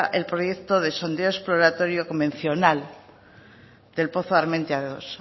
el proyecto de sondeo exploratorio convencional del pozo armentia dos